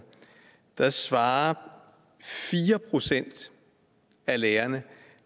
der svarede fire procent af lærerne